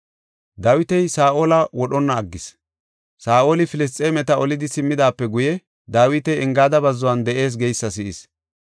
Saa7oli Filisxeemeta olidi simmidaape guye, Dawiti Engaada bazzuwan de7ees geysa si7is.